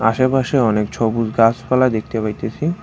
আশেপাশে অনেক ছবুজ গাছপালা দেখতে পাইতাসি।